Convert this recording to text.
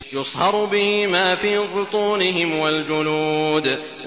يُصْهَرُ بِهِ مَا فِي بُطُونِهِمْ وَالْجُلُودُ